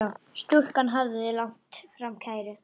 Stúlkan hafði lagt fram kæru.